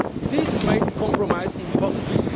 market. This made compromise impossible.